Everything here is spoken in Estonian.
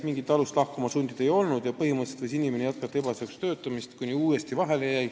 Mingit alust teda lahkuma sundida ei olnud ja põhimõtteliselt võis inimene ebaseaduslikult edasi töötada, kuni uuesti vahele jäi.